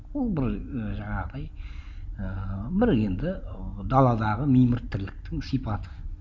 ол бір ііі жаңағыдай ыыы бір енді ы даладағы мимырт тірліктің сипаты